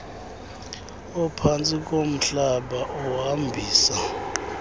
ophantsi komhlaba ohambisa